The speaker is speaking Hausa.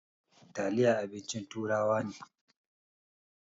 Taliya abincin turawa ne.